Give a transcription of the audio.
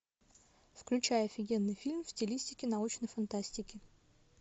включай офигенный фильм в стилистике научной фантастики